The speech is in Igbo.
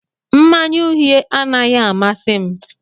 Mmanya uhie anaghị amasị m